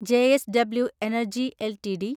JSW energy LTD